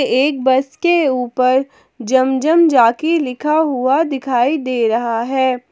एक बस के ऊपर जम जम जाकिर लिखा हुआ दिखाई दे रहा है।